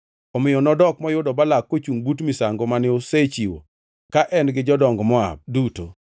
Omiyo nodok moyudo Balak kochungʼ but misango mane osechiwo ka en gi jodong Moab duto.